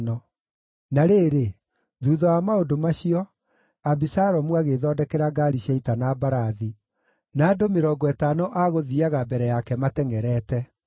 Na rĩrĩ, thuutha wa maũndũ macio, Abisalomu agĩĩthondekera ngaari cia ita na mbarathi, na andũ mĩrongo ĩtano a gũthiiaga mbere yake matengʼerete.